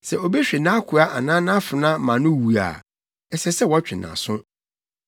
“Sɛ obi hwe nʼakoa anaa nʼafenaa ma no wu a, ɛsɛ sɛ wɔtwe nʼaso.